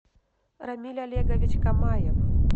рамиль олегович камаев